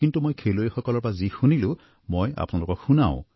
কিন্তু মই খেলুৱৈসকলৰ পৰা যি শুনিলোঁ মই আপোনালোকক শুনাও